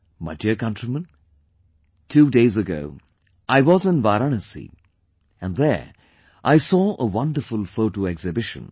My dear countrymen, two days ago I was in Varanasi and there I saw a wonderful photo exhibition